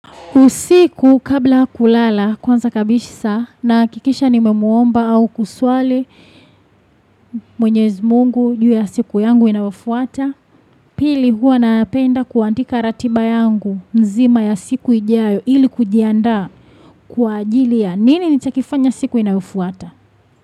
Usiku kabla kulala, kwanza kabisaa nahakikisha nimemuomba au kuswali Mwenyezi Mungu juu ya siku yangu inayofuata. Pili, huwa naapenda kuandika ratiba yangu nzima ya siku ijayo ili kujiandaa kwaajili ya nini nitakifanya siku inayofuata.